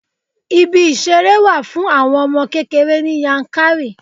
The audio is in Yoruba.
Ibi ìṣeré wà fún àwọn ọmọ kékeré ní Yankari.